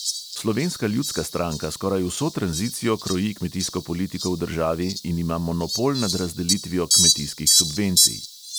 Slovenska ljudska stranka skoraj vso tranzicijo kroji kmetijsko politiko v državi in ima monopol nad razdelitvijo kmetijskih subvencij.